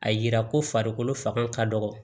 A yira ko farikolo fanga ka dɔgɔ